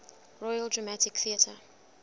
royal dramatic theatre